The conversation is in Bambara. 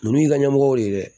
Ninnu y'i ka ɲɛmɔgɔ de ye dɛ